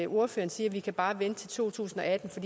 ordføreren siger at vi bare kan vente til to tusind og atten for